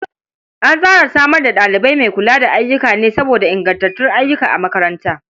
An tsara samar da ɗalibi mai kula da ayyuka ne saboda ingantuwar ayyuka a makaranta.